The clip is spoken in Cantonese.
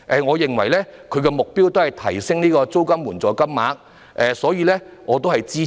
我認為他們的目的是提升租金津貼金額，因此我會支持。